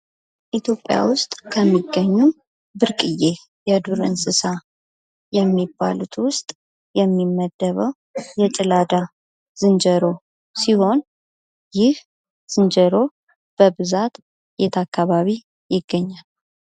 ኢትዮጵያ ውስጥ ከሚገኙ ብርቅዬ የዱር እንስሳ ከሚባሉት ውስጥ የሚመደበው የጭላዳ ዝንጀሮ ሲሆን ይህ ዝንጀሮ በብዛት የት አካባቢ ይገኛል?